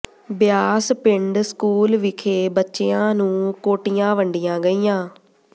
ਬਿਆਸ ਪਿੰਡ ਸਕੂਲ ਵਿਖੇ ਬੱਚਿਆਂ ਨੂੰ ਕੋਟੀਆਂ ਵੰਡੀਆਂ ਗਈਆਂ